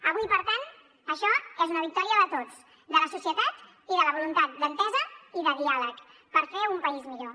avui per tant això és una victòria de tots de la societat i de la voluntat d’entesa i de diàleg per fer un país millor